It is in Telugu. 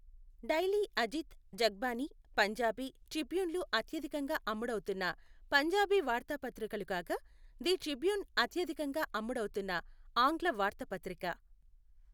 డైలీ అజిత్, జగ్బానీ, పంజాబీ ట్రిబ్యూన్లు అత్యధికంగా అమ్ముడవుతున్న పంజాబీ వార్తాపత్రికలు కాగా, ది ట్రిబ్యూన్ అత్యధికంగా అమ్ముడవుతున్న ఆంగ్ల వార్తాపత్రిక.